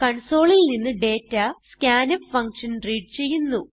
Consoleൽ നിന്ന് data scanf function read ചെയ്യുന്നു